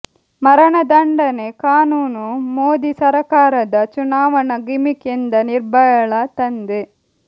ಮರಣದಂಡನೆ ಕಾನೂನು ಮೋದಿ ಸರಕಾರದ ಚುನಾವಣಾ ಗಿಮಿಕ್ ಎಂದ ನಿರ್ಭಯಳ ತಂದೆ